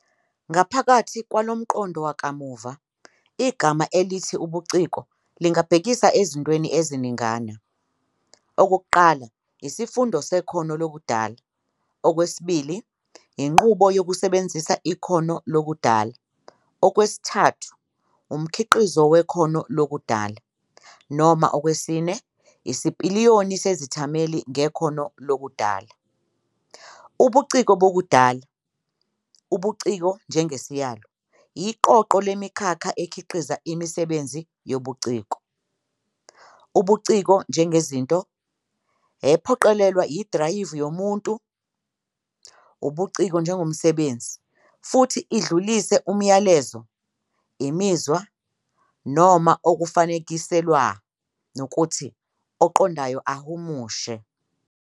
Ngaphakathi kwalo mqondo wakamuva, igama elithi "ubuciko" lingabhekisa ezintweni eziningana, okokuqala, isifundo sekhono lokudala, okwesibili, inqubo yokusebenzisa ikhono lokudala, okwesithathu, umkhiqizo wekhono lokudala, noma okwesine, isipiliyoni sezithameli ngekhono lokudala. Ubuciko bokudala, "ubuciko" njengesiyalo, iqoqo lemikhakha ekhiqiza "imisebenzi yobuciko", "ubuciko" njengezinto, ephoqelelwa idrayivu yomuntu, ubuciko njengomsebenzi, futhi idlulise umlayezo, imizwa, noma okufanekiselwa ngukuthi oqondayo ahumushe.